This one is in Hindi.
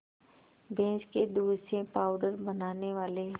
भैंस के दूध से पावडर बनाने वाले